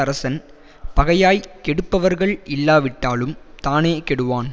அரசன் பகையாய்க் கெடுப்பவர்கள் இல்லாவிட்டாலும் தானே கெடுவான்